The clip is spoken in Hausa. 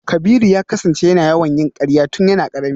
Kabiru ya kasance yana yawan yin karya tun yana karami.